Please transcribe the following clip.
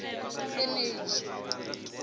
eneji